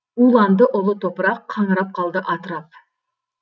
уланды ұлы топырақ қаңырап қалды атырап